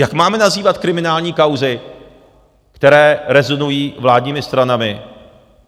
Jak máme nazývat kriminální kauzy, které rezonují vládními stranami?